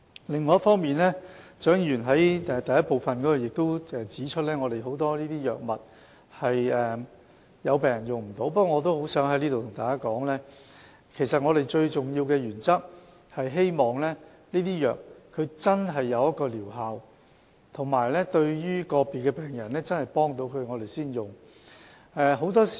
另一方面，蔣議員在其補充質詢的第一部分亦指出，有很多藥物是病人無法使用的，不過，我在此想告訴大家，我們最重要的原則是希望藥物真的有療效，以及對個別病人真的有幫助，我們才會使用。